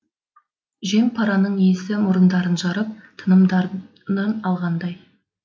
жем параның иісі мұрындарын жарып тынымдарый алғандай